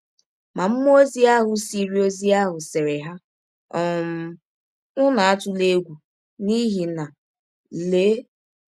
Ma mmụọ ọzi ahụ sịrị ọzi ahụ sịrị ha: ‘ um Ụnụ atụla egwụ, n’ihi na, lee!